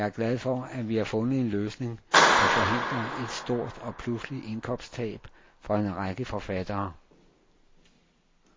Jeg er glad for, at vi har fundet en løsning, som forhindrer et stort og pludseligt indkomsttab for en række forfattere.